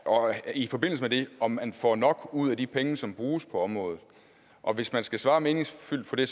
og i forbindelse med det om man får nok ud af de penge som bruges på området og hvis man skal svare meningsfuldt på det